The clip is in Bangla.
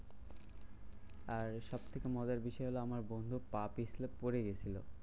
আর সবথেকে মজার বিষয় হলো আমার বন্ধু পা পিছলে পরে গেছিলো।